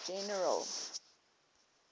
general